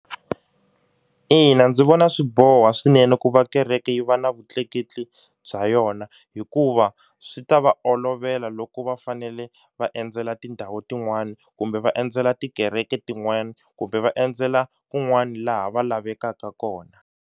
Ina ndzi vona swi boha swinene ku va kereke yi va na vutleketli bya yona hikuva swi ta va olovela loko va fanele va endzela tindhawu tin'wani kumbe va endzela tikereke tin'wana kumbe va endzela kun'wani laha va lavekaka kona.